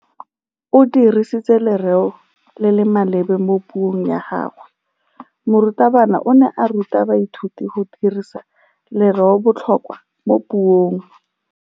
O dirisitse lerêo le le maleba mo puông ya gagwe. Morutabana o ne a ruta baithuti go dirisa lêrêôbotlhôkwa mo puong.